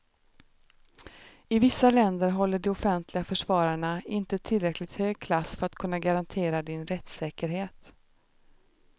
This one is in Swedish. I vissa länder håller de offentliga försvararna inte tillräckligt hög klass för att kunna garantera din rättssäkerhet.